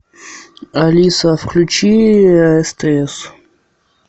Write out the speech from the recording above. алиса включи стс